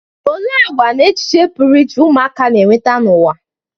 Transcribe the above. Olee àgwà na echiche pụrụ iche ụmụaka na-eweta n'ụwa?